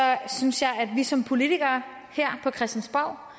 synes jeg at vi som politikere her på christiansborg